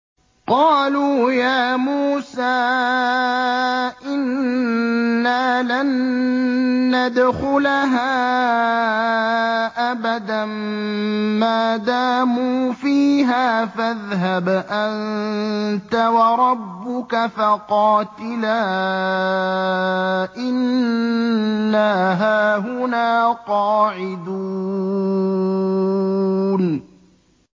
قَالُوا يَا مُوسَىٰ إِنَّا لَن نَّدْخُلَهَا أَبَدًا مَّا دَامُوا فِيهَا ۖ فَاذْهَبْ أَنتَ وَرَبُّكَ فَقَاتِلَا إِنَّا هَاهُنَا قَاعِدُونَ